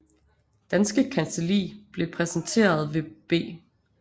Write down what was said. Danske Kancelli blev repræsenteret ved B